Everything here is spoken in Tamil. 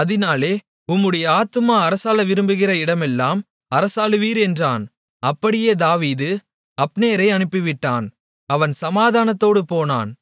அதினாலே உம்முடைய ஆத்துமா அரசாள விரும்புகிற இடமெல்லாம் அரசாளுவீர் என்றான் அப்படியே தாவீது அப்னேரை அனுப்பிவிட்டான் அவன் சமாதானத்தோடு போனான்